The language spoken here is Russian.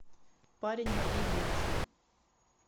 парень моей девушки